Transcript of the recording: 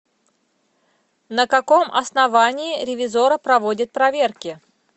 на каком основании ревизорро проводит проверки